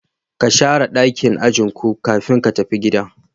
Ka Shara dakin ajin ku kafin ka tafi gida.